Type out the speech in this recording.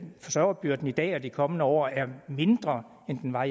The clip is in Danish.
forsørgerbyrden i dag og i de kommende år er mindre end den var